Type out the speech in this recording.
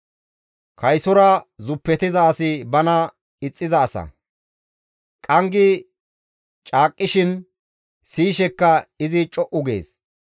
Kaysora zuppetiza asi bana ixxiza asa; qanggi caaqisishin siyishekka izi co7u gees.